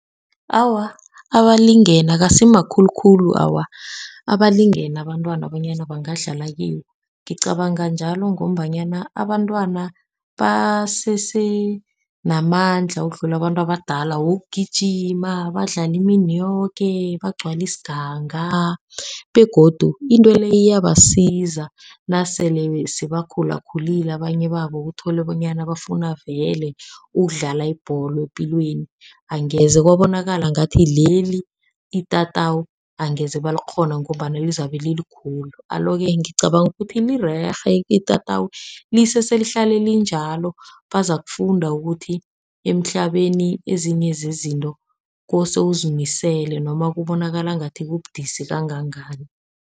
Awa, abalingene akasi makhulukhulu awa abalingene abantwana bonyana bangadlala kiwo. Ngicabanga njalo ngombanyana abantwana basese namandla ukudlula abantu abadala, wokugijima badlale imini yoke bagcwali isiganga. Begodu into le iyabasiza nasele sebakhulakhulile abanye babo kutholwe bonyana bafuna vele ukudlala ibholo epilweni. Angeze kwabonakala ngathi leli itatawu angeze balikghona ngombana lizabe lilikhulu. Alo-ke ngicabanga ukuthi lirerhe itatawu lisese lihlalele linjalo, bazakufunda ukuthi emhlabeni ezinye zezinto kose uzimisele noma kubonakala ngathi kubudisi kangangani.